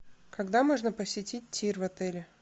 когда можно посетить тир в отеле